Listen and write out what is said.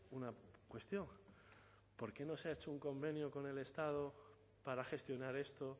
una cuestión por qué no se ha hecho un convenio con el estado para gestionar esto